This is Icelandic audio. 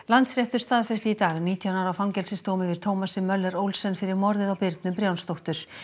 Landsréttur staðfesti í dag nítján ára fangelsisdóm yfir Thomasi Möller Olsen fyrir morðið á Birnu Brjánsdóttur